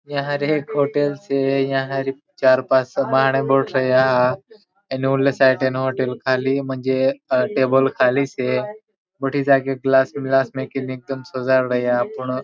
यहाँ एक होटल से यहाँ चार पाँच माणह बठ रया उना साठे होटल खाली मजे टेबल खाली से बठी जाग गिलास ग्लास मेकी एकदम सजाड़ रया पूर्ण --